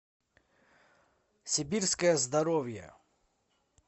сибирское здоровье